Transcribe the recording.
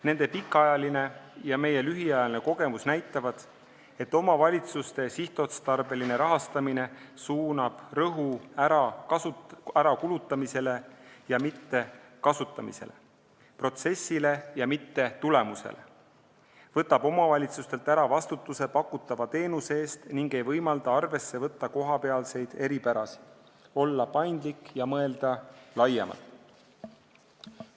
Nende pikaajaline ja meie lühiajaline kogemus näitavad, et omavalitsuste sihtotstarbeline rahastamine paneb rõhu ärakulutamisele ja mitte kasutamisele, protsessile ja mitte tulemusele, võtab omavalitsustelt ära vastutuse pakutava teenuse eest ega võimalda arvesse võtta kohapealseid eripärasid, olla paindlik ja mõelda laiemalt.